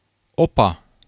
Opa.